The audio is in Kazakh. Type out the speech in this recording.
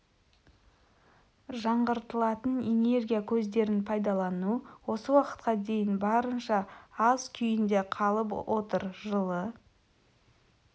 жаңғыртылатын энергия көздерін пайдалану осы уақытқа дейін барынша аз күйінде қалып отыр жылы